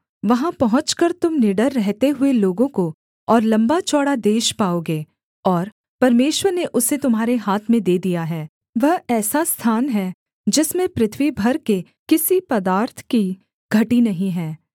वहाँ पहुँचकर तुम निडर रहते हुए लोगों को और लम्बा चौड़ा देश पाओगे और परमेश्वर ने उसे तुम्हारे हाथ में दे दिया है वह ऐसा स्थान है जिसमें पृथ्वी भर के किसी पदार्थ की घटी नहीं है